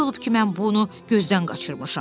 Necə olub ki, mən bunu gözdən qaçırmışam?